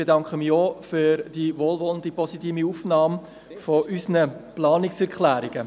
Ich bedanke mich auch für die wohlwollende Aufnahme unserer Planungserklärungen.